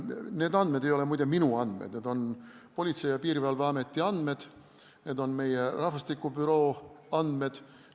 Need andmed ei ole, muide, minu andmed, need on Politsei- ja Piirivalveameti andmed, need on meie rahvastikubüroo andmed.